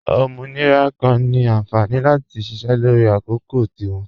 Ọmọnirà kan ni ànfání láti ṣíṣẹ́ lọrì àkọ̀kò tí wọn.